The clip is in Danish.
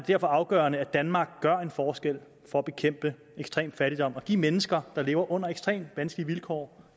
derfor afgørende at danmark gør en forskel for at bekæmpe ekstrem fattigdom og give mennesker der lever under ekstremt vanskelige vilkår